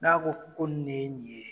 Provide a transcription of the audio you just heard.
N'a ko ko nin nin ye